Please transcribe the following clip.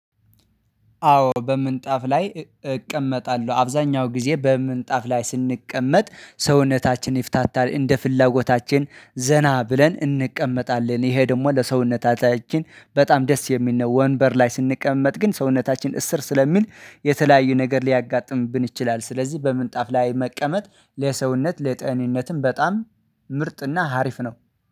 አዎ በምንጣፍ ላይ እቀመጣለሁ አብዛኛው ጊዜ በምንጣፍ ላይ ስንቀመጥ ሰውነታችን ይፍታታል እንደ ፍላጎታችን ዘና ብለን እንቀመጣለን ይሄ ደግሞ ለሰውነታችን በጣም ደስ የሚል ነው። ወንበር ላይ ስንቀመጥ ግን ሰውነታችን እስር ስለሚል የተለያዩ ነገር ሊያጋጥምብን ይችላል። ስለዚህ በምንጣፍ ላይ መቀመጥ ለሰውነት ለጤንነትም በጣም ምርጥና ሀሪፍ ነው